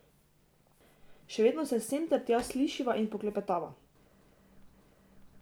Še vedno se sem ter tja slišiva in poklepetava.